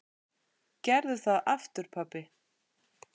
Gerðu það aftur pabbi!